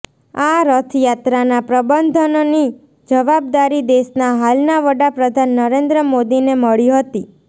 આ રથયાત્રાના પ્રબંધનની જવાબદારી દેશના હાલના વડાપ્રધાન નરેન્દ્ર મોદીને મળી હતી